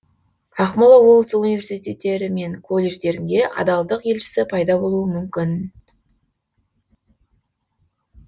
ақмола облысы университеттері мен колледждерінде адалдық елшісі пайда болуы мүмкін